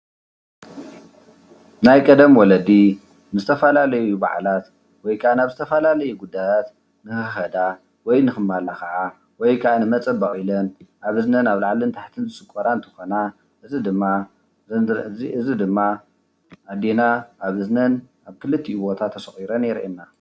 ናይ ቀደም ወለዲ ንዝተፋላለዩ ባዓላት ወይ ከዓ ናብ ዝተፋልለዩ ጉዳያት ንክከዳ ወይ ንከማላከዓ ወይ ከዓ ንመፀበቂ ኢለን ኣብ እዝነን ኣብ ላዕልን ታሕትን ዝስቆራ እንትኮና እዚ ድማ ኣዴና ኣብ እዝነን ኣብ ክልቲኡ ቦታ ተሰቊረን የርእየና፡፡